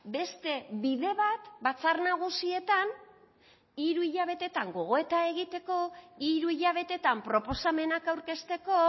beste bide bat batzar nagusietan hiru hilabetetan gogoeta egiteko hiru hilabetetan proposamenak aurkezteko